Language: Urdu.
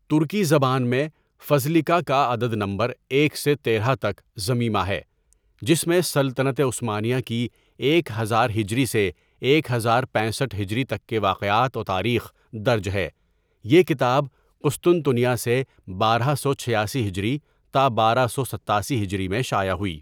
ترکی زبان میں فَذلِکہ کا عدد نمبر ایک سے تیرہ تک ضمیمہ ہے جس میں سلطنت عثمانیہ کی ایک ہزار ہجری سے ایک ہزار پینسٹھ ہجری تک کے واقعات و تاریخ درج ہے یہ کتاب قسطنطنیہ سے بارہ سو چھیاسی ہجری تا بارہ سو ستاسی ہجری میں شائع ہوئی.